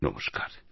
নমস্কার